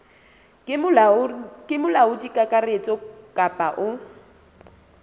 ke molaodi kakaretso kapa o